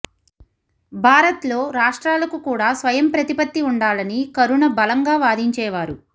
భారత్లో రాష్ట్రాలకు కూడా స్వయం ప్రతిపత్తి ఉండాలని కరుణ బలంగా వాదించేవారు